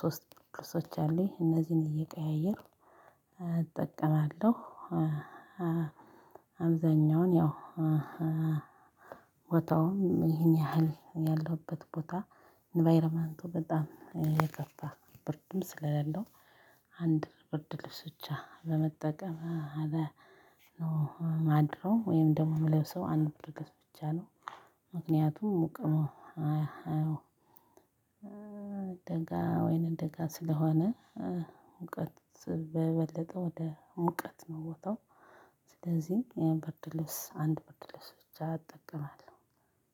ሶስት ብርድ ልብሶች አሉኝ እነዚህን እየቀያየርኩ እጠቀማለሁ። አብዛኛውን ያው ቦታውም ይሄን ያህል ያለሁበት ቦታ ኢንቫይሮመንቱ በጣም የከፋ ብርድም ስለሌለው አንድ ብርድ ልብስ ብቻ በመጠቀም አለ። ማድረው ወይም ደግሞ የምለብሰው አንድ ብርድ ልብስ ብቻ ነው። ምክንያቱም ሙቅ ነው። አዎ ደጋ ወይናደጋ ስለሆነ ሙቀት በበለጠ ወደ ሙቀት ነው ቦታው። ስለዚህ ይሄን ብርድልብስ አንድ ብርድልብስ ብቻ እጠቀማለሁ።